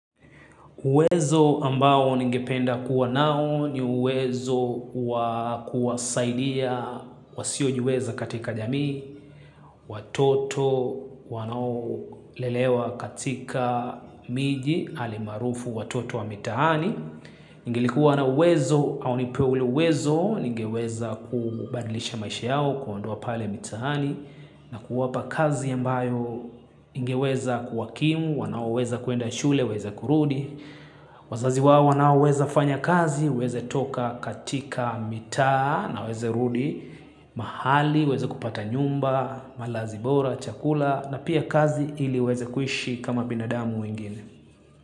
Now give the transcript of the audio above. Uwezo ambao ningependa kuwa nao ni uwezo wa kuwasaidia, wasiojiweza katika jamii, watoto wanaolelewa katika miji, alimaarufu watoto wa mitahani. Ningelikuwa na uwezo au nipewe ule uwezo, ningeweza kubadilisha maisha yao, kuwaondoa pale mitahani, na kuwapa kazi ambayo ingeweza kuwakimu, wanao uweza kuenda shule, waweza kurudi. Wazazi wao wanaoweza fanya kazi, wawezetoka katika mitaa na waweze rudi mahali, waweze kupata nyumba, malazi bora, chakula na pia kazi ili waweze kuishi kama binadamu wengine.